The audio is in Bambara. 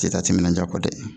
Te taa timinanja kɔ dɛ